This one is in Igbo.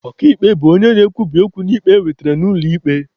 Ọka ikpe bụ onye na-ekwubi okwu n'ikpe ewetere n'ụlọ ikpe.